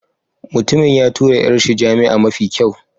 Mutumin ya tura 'yar shi jami'a mafi kyau.